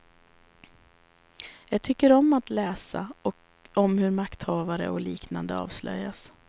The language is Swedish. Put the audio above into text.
Jag tycker om att läsa om hur makthavare och liknande avslöjas.